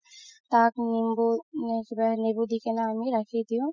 তাক নেবু, নেবু দি কিনে আমি ৰাখি দিও